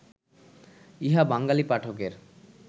ইহা বাঙ্গালী পাঠকের